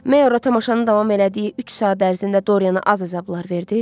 Meyora tamaşanı davam elədiyi üç saat ərzində Doriyana az əzablar verdi?